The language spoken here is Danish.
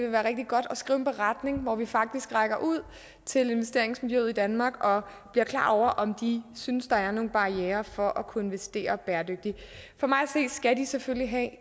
være rigtig godt at skrive en beretning hvor vi faktisk rækker ud til investeringsmijøet i danmark og bliver klar over om de synes der er nogle barrierer for at kunne investere bæredygtigt for mig at se skal de selvfølgelig have